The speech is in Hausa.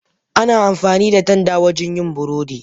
Ana amfani da tanda wajen yin burodi.